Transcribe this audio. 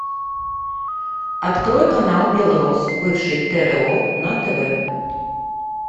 открой канал белрос бывший тро на тв